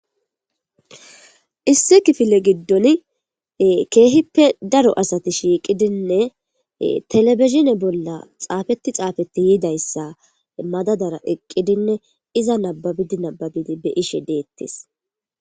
issi kifile giddon keehippe daro asati shiiqidinne telebizhine bolla xaafeti xaafetti yiidayssa madadara eqqidinne iza nababidi nababidi be ishe deettes